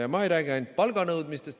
Ja ma ei räägi ainult palganõudmisest.